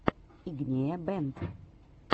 игнея бэнд